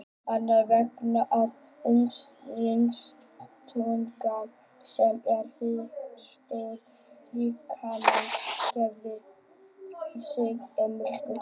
Annars vegar er talið að undirstúkan, sem er hitastöð líkamans, gefi sig við mikinn kulda.